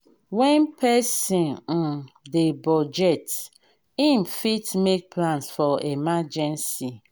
when person um dey budget im fit make plans for emergency